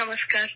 نمسکار